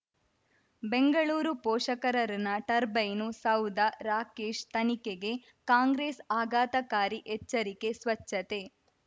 ಬೆಂಗಳೂರು ಪೋಷಕರಋಣ ಟರ್ಬೈನು ಸೌಧ ರಾಕೇಶ್ ತನಿಖೆಗೆ ಕಾಂಗ್ರೆಸ್ ಆಘಾತಕಾರಿ ಎಚ್ಚರಿಕೆ ಸ್ವಚ್ಛತೆ